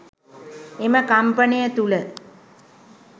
එම කම්පනය තුළ